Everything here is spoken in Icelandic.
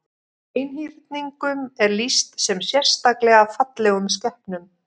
Einhyrningum er lýst sem sérstaklega fallegum skepnum.